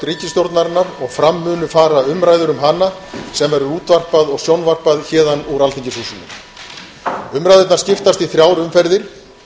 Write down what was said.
ríkisstjórnarinnar og fram munu fara umræður um hana sem verður útvarpað og sjónvarpað héðan úr alþingishúsinu umræðurnar skiptast í þrjár umferðir